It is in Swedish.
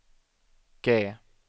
G